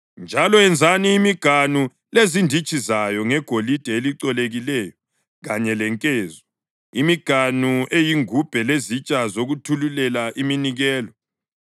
Njalo yenzani imiganu lezinditshi zayo ngegolide elicolekileyo kanye lenkezo, imiganu eyingubhe lezitsha zokuthululela iminikelo.